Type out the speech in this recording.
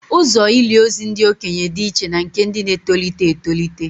Ụzọ ili ozu ndị okenye dị iche na nke ndị na-etolite etolite